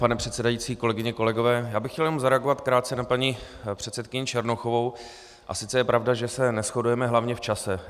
Pane předsedající, kolegyně, kolegové, já bych chtěl jenom zareagovat krátce na paní předsedkyni Černochovou, a sice je pravda, že se neshodujeme hlavně v čase.